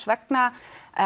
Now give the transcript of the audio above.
vegna